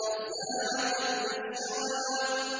نَزَّاعَةً لِّلشَّوَىٰ